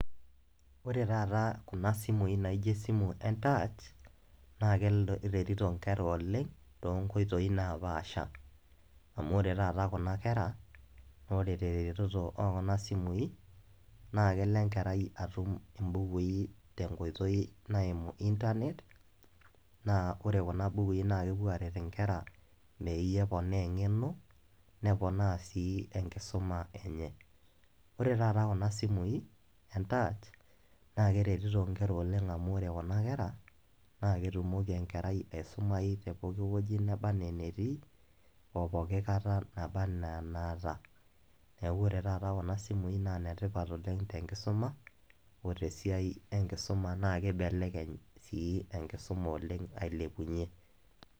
Ore taata kuna simui naijo esimu entaach, naa keretito nkera oleng, tonkoitoii napaasha. Amu ore taata kuna kera, ore tereteto okuna simui, naa kelo enkerai atum ibukui tenkoitoi naimu Internet, naa ore kuna bukui naa kepuo aret inkera meeyie eponaa eng'eno, neponaa si enkisuma enye. Ore taata kuna simui entach, naa keretito nkera oleng amu ore kuna kera, na ketumoki enkerai aisumayu te pooki wueji nebaa enaa enetii, opoki kata naba enaa enaata. Neeku ore taata kuna simui na netipat oleng tenkisuma, o tesiai enkisuma nakibelekeny si enkisuma oleng ailepunye.